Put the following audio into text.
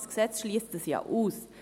Dieses Gesetz schliesst das ja aus.